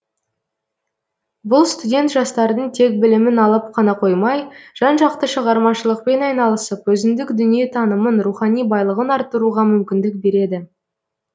бұл студент жастардың тек білімін алып қана қоймай жан жақты шығармашылықпен айналысып өзіндік дүниетанымын рухани байлығын артыруға мүмкіндік береді